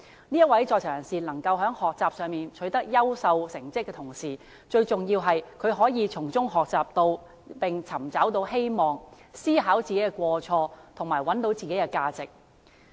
這位在囚人士能夠在學習上取得優秀成績的同時，最重要的是他可以從中學習並尋找到希望，思考自己的過錯，找到自己的價值。